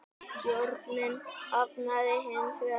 Stjórnin hafnaði hins vegar því.